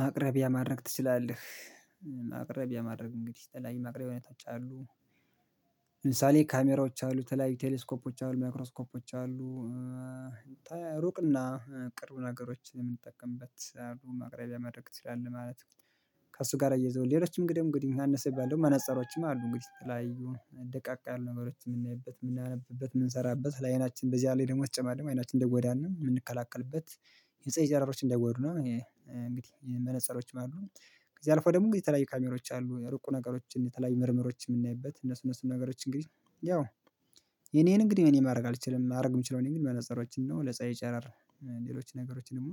ማቅረብያ ማድረግ ትችላለህ። ማቅረቢያ ማድረግ እንግዲህ የተለያዩ ማቅረቢያ አይነቶች አሉ። ለምሳሌ ካሜራዎች አሉ፣ የተለያዩ ቴሌስኮፖች አሉ፣ ማይክሮስኮፖች አሉ። ሩቅና ቅርብ ነገሮችን የምንጠቀምበት አሉ ማቅረቢያ መድረክ ስላለ ማለት ነው። ከእሱ ጋር አያይዘው ሌሎችም እንግዲህ እንግዲህ አነሰ ቢባሉም መነጽሮችም አሉ። እንግዲህ የተለይዩ ደቃቃ ያሉ ነገሮችን የምናይበት፣ የምናነብበት፣ የምንሰራበት፣ ለአይናችን በዚያ ላይ ደግሞ መስጨማር ደግሞ አይናችን እንዳይጎዳንም የምንከላከልበት የፀሀይ ጨረሮችን እንዳይጎዱንም እንግዲህ መነጽሮችም አሉ። ከዚህ አልፎ ደግሞ እንግዲህ የተለያዩ ካሜሮች አሉ የርቁ ነገሮችን የተለያዩ ምርምሮችን የምናይበት እነሱ እነሱን ነገሮች እንግዲህ ያው የኔን እንግዲህ እኔ ማድረግ አልችልም። ማድረግ የምችለው እኔ ግን መነፀሮችን ነው። ለፀሀይ ጨረር ሌሎች ነገሮችንም